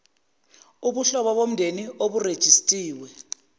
ubuhlobo bomndeni oburejistiwe